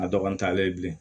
A dɔgɔ ntanlen bilen